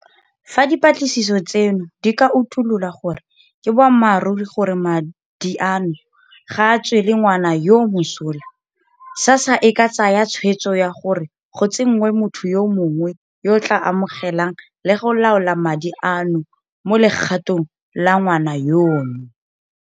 Fa dipatlisiso tseno di ka utulola gore ke boammaruri gore madi a no ga a tswele ngwana yoo mosola, SASSA e ka tsaya tshwetso ya gore go tsenngwe motho yo mongwe yo a tla amogelang le go laola madi ano mo legatong la ngwana yono.